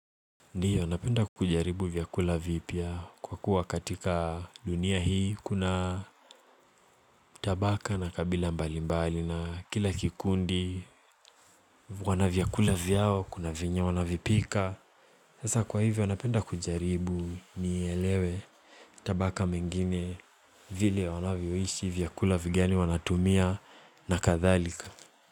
Ndio, napenda kujaribu vyakula vipya kwa kuwa katika dunia hii kuna tabaka na kabila mbali mbali na kila kikundi wana vyakula vyao, kuna venye wanavipika Sasa kwa hivyo, napenda kujaribu nielewe tabaka mengine vile wanavyoishi vyakula vigani wanatumia na kadhalika.